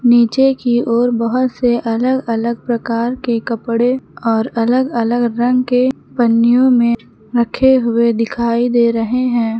नीचे की ओर बहुत से अलग अलग प्रकार के कपड़े और अलग अलग रंग के पन्नियों में रखे हुए दिखाई दे रहे हैं।